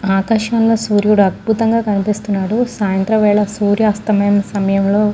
ఆకాశం లో సూర్యుడు అద్బుతంగా కనిపిస్తునాడు సాయంత్రం వేల సూర్య అస్తమాయే సమయం లో --